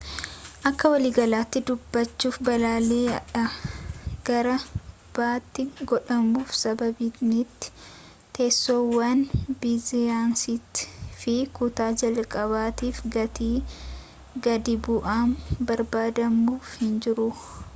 akkawaliigalaatti dubbachuuf balalii a dhaa gara b tti godhamuuf sababiimti teessoowwan biizinasiitii fi kutaa-jalqabaatiif gatii gadi bu'aan barbaadamuuf hinjiru